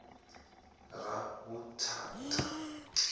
ravhuthata